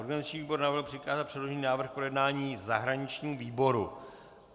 Organizační výbor navrhl přikázat předložený návrh k projednání zahraničnímu výboru.